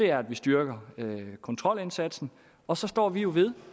er at vi styrker kontrolindsatsen og så står vi jo ved